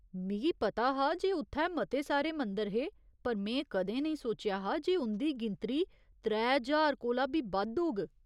मिगी पता हा जे उत्थै मते सारे मंदर हे पर में कदें नेईं सोचेआ हा जे उं'दी गिनतरी त्रै ज्हार कोला बी बद्द होग।